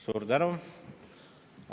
Suur tänu!